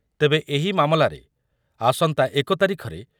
ତେବେ ଏହି ମାମଲାରେ ଆସନ୍ତା ଏକ ତାରିଖରେ